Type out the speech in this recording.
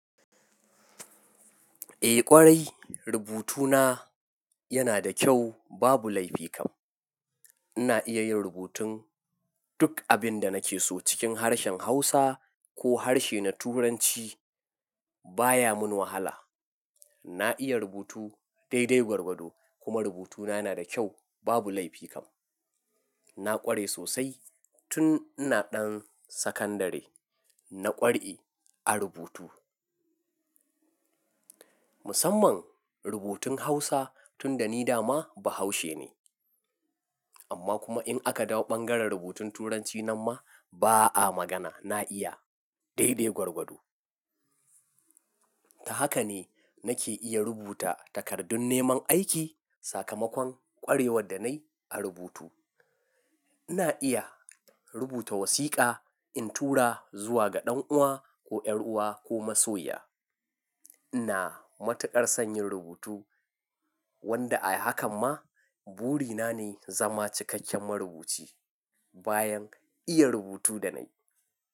Eh ƙwarai, rubutuna, yana da kyau, babu laifikan. Ina iya yin rubutun, duk abinda nake so cikin harshen Hausa, ko harshe na Turanci. Baya mun wahala. Na iya rubutu, daidai gwargwado kuma rubutuna yana da kyau, babu laifikan. Na ƙware sosai, tun ina ɗan sakandare. Na ƙware a rubutu. Musamman, rubutun Hausa tunda ni dama, Bahaushe ne. Amma kuma in aka dawo ɓangaren rubutun Turanci nanma, ba'a magana na iya, daidai gwargwado. Ta haka ne nake, iya rubuta takardun neman aiki, sakamakon ƙwarewar da nayi a rubutu. Ina iya rubuta wasiƙa in tura zuwa ga ɗan uwa ko ƴar'uwa ko masoya. Ina, matuƙar sanyin rubutu, wanda a hakan ma, buri na ne zama cikakken marubuci. Bayan, iya rubutu da nayi.